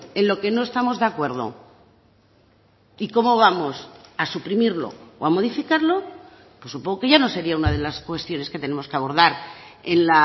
en lo que no estamos de acuerdo y cómo vamos a suprimirlo o a modificarlo pues supongo que ya no sería una de las cuestiones que tenemos que abordar en